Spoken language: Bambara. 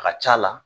A ka c'a la